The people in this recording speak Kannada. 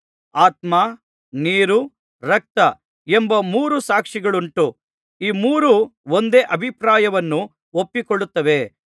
ಆತ್ಮ ನೀರು ರಕ್ತ ಎಂಬ ಮೂರು ಸಾಕ್ಷಿಗಳುಂಟು ಈ ಮೂರು ಒಂದೇ ಅಭಿಪ್ರಾಯವನ್ನು ಒಪ್ಪಿಕೊಳ್ಳುತ್ತವೆ